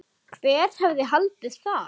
Hver hefði haldið það?